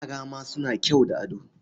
Yara ma suna kyau da ado.